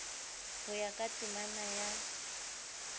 ho ya ka temana ya